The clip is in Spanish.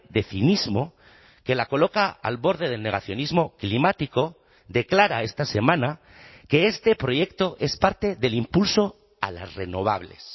de cinismo que la coloca al borde del negacionismo climático declara esta semana que este proyecto es parte del impulso a las renovables